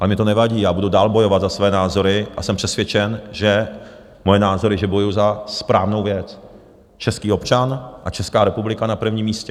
Ale mně to nevadí, já budu dál bojovat za své názory a jsem přesvědčen, že moje názory, že bojuji za správnou věc, český občan a Česká republika na prvním místě.